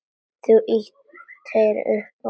Þú ýtir upp á eitt.